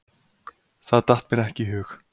Það datt mér ekki í hug.